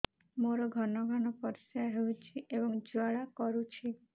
ମୋର ଘନ ଘନ ପରିଶ୍ରା ହେଉଛି ଏବଂ ଜ୍ୱାଳା କରୁଛି